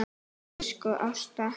Elsku Ásta.